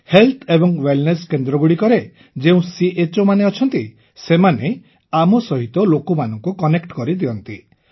health and wellness କେନ୍ଦ୍ରଗୁଡ଼ିକରେ ଯେଉଁ CHOମାନେ ଅଛନ୍ତି ସେମାନେ ଆମ ସହିତ ଲୋକମାନଙ୍କୁ କନେକ୍ଟ କରେଇ ଦିଅନ୍ତି